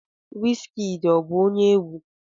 Wizkid ọ bụ onye egwu?